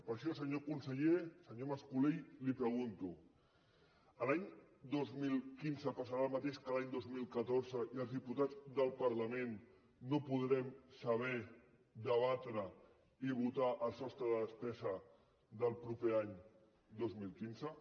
per això senyor conseller senyor mas colell li pregunto l’any dos mil quinze passarà el mateix que l’any dos mil catorze i els diputats del parlament no podrem saber debatre i votar el sostre de despesa del proper any dos mil quinze